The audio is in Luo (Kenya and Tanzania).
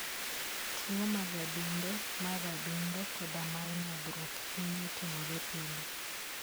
Tuwo mag adundo, mar adundo, koda mar nyodhruok, hinyo timore pile.